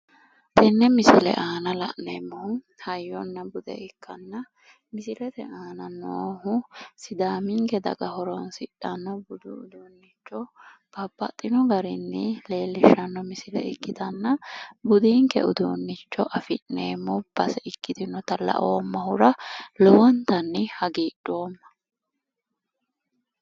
tenne misile aana la'neemmohu hayyonna bude ikkanna misilete aana noohu sidaaminke daga horonsidhanno uduunnicho babbaxino garinni leellishshanno misile ikkitanna budinke uduunnicho afi'neemmo base ikkitinohura lowontanni hagiidhoomma.